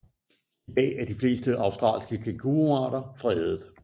I dag er de fleste australske kænguruarter fredet